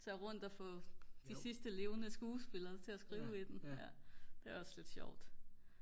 så er jeg rundt og få de sidste levende skuespillere til at skrive i den det er også lidt sjovt